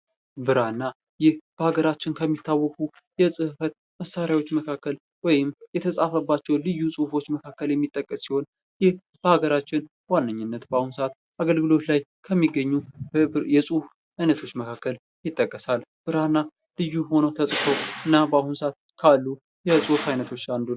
ብራና ይህ በአገራችን ከሚታወቁት የጽህፈት መሳሪያዎች መካከል ወይም የተፃፈባቸውን ልዩ ጽሁፎች መካከል የሚጠቀስ ሲሆን ይህ በሃገራችን በዋነኝነት በአሁኑ ሰዓት በአገልግሎት ላይ ከሚገኙ የጽሁፍ አይነቶች መካከል ይጠቀሳል። ብራና ልዩ ሆኖ ተጽፎ እና በአሁኑ ሰዓት ክልል የፁሑፍ አይነቶች አንዱ ነው።